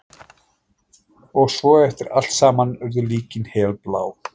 Og svo eftir allt saman urðu líkin helblá.